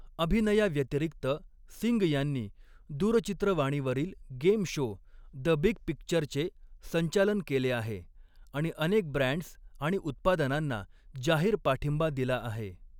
अभिनयाव्यतिरिक्त, सिंग यांनी दूरचित्रवाणीवरील game show, the big पिक्चरचे संचालन केले आहे आणि अनेक ब्रॅंड्स् आणि उत्पादनांना जाहीर पाठिंबा दिला आहे.